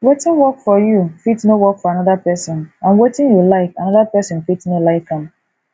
wetin work for you fit no work for anoda person and wetin you like anoda person fit no like am